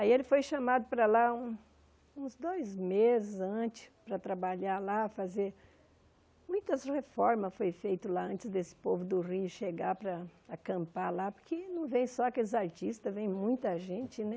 Aí ele foi chamado para lá um uns dois meses antes para trabalhar lá, fazer... Muitas reformas foram feitas lá antes desse povo do Rio chegar para acampar lá, porque não vêm só aqueles artistas, vêm muita gente, né?